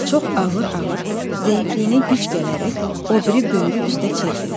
Çox ağır-ağır, zəifliyinə güc gələrək, o biri böyrü üstə çevrildi.